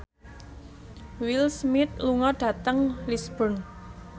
Will Smith lunga dhateng Lisburn